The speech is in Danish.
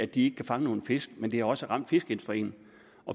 de ikke kan fange nogen fisk men det har også ramt fiskeindustrien